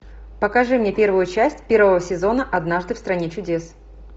покажи мне первую часть первого сезона однажды в стране чудес